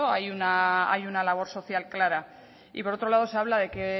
hay una labor social clara y por otro lado se habla de que